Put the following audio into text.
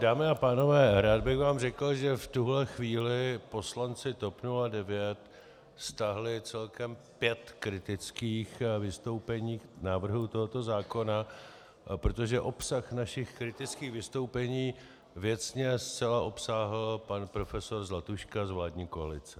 Dámy a pánové, rád bych vám řekl, že v tuhle chvíli poslanci TOP 09 stáhli celkem pět kritických vystoupení k návrhu tohoto zákona, protože obsah našich kritických vystoupení věcně zcela obsáhl pan profesor Zlatuška z vládní koalice.